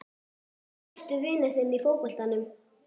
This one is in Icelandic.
Hver er besti vinur þinn í fótboltanum?